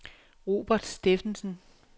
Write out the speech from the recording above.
Robert Steffensen